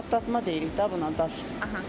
Burda daş, patlatma deyirik də buna daş.